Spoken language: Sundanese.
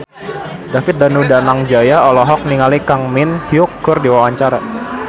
David Danu Danangjaya olohok ningali Kang Min Hyuk keur diwawancara